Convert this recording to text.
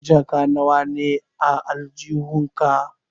Jaka nawa ne a aljihun ka?